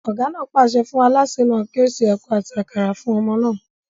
Ọ̀gá náà pàṣẹ fún alásè náà kí ó se ẹ̀ko àti àkàrà fún ọmọ náà